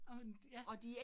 Og ja